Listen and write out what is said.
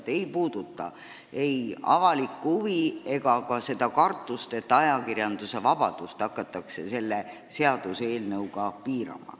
Ma ei puuduta ei avalikku huvi ega ka seda kartust, et selle seaduseelnõuga hakatakse ajakirjandusvabadust piirama.